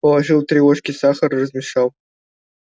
положил три ложки сахара размешал